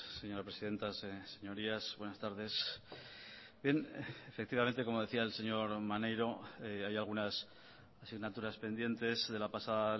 señora presidenta señorías buenas tardes bien efectivamente como decía el señor maneiro hay algunas asignaturas pendientes de la pasada